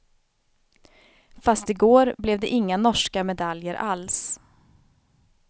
Fast i går blev det inga norska medaljer alls.